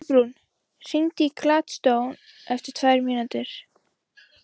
Kolbrún, hringdu í Gladstone eftir tvær mínútur.